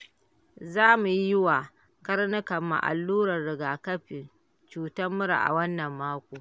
Za mu yi wa karnukanmu allurar rigakafin cutar mura a wannan mako.